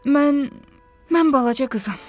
Mən... mən balaca qızam.